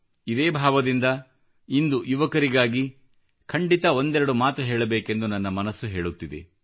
ಇದೇ ಭಾವದಿಂದ ಇಂದು ಯುವಕರಿಗಾಗಿ ಖಂಡಿತ ಒಂದೆರಡು ಮಾತು ಹೇಳಬೇಕೆಂದು ನನ್ನ ಮನಸ್ಸು ಹೇಳುತ್ತಿದೆ